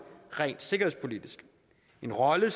rent sikkerhedspolitisk en rolle